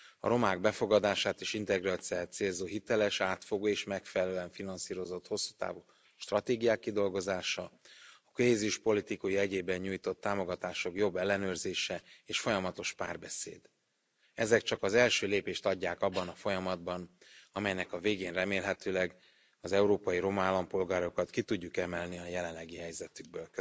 A romák befogadását és integrációját célzó hiteles, átfogó és megfelelően finanszírozott hosszú távú stratégiák kidolgozása, krízispolitika jegyében nyújtott támogatások jobb ellenőrzése és folyamatos párbeszéd. Ezek csak az első lépést adják abban a folyamatban, amelynek a végén remélhetőleg az európai roma állampolgárokat ki tudjuk emelni a jelenlegi helyzetükből.